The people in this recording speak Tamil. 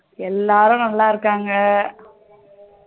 எல்லாரும் நல்லா இருக்காங்க